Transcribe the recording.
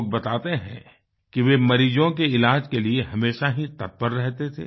लोग बताते हैं कि वे मरीजों के इलाज के लिए हमेशा ही तत्पर रहते थे